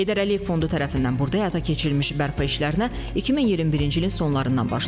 Heydər Əliyev Fondu tərəfindən burada həyata keçirilmiş bərpa işlərinə 2021-ci ilin sonlarından başlanıb.